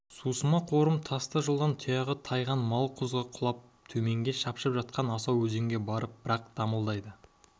сусыма қорым тасты жолдан тұяғы тайған мал құзға құлап төменде шапшып жатқан асау өзенге барып бір-ақ дамылдайды